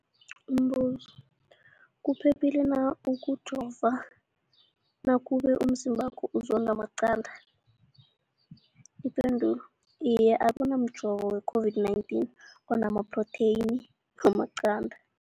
Umbuzo, kuphephile na ukujova nakube umzimbakho uzondwa maqanda. Ipendulo, Iye. Akuna mjovo we-COVID-19 ona maphrotheyini wamaqanda.